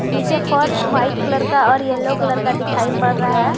नीचे फर्श white colour का और यलो कलर दिखाई पड़ रह है।